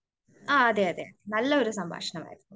അതേ അതേ നല്ല ഒരു സംഭാഷണമായിരുന്നു.